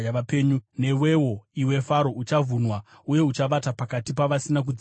“Newewo, iwe Faro, uchavhunwa uye uchavata pakati pavasina kudzingiswa.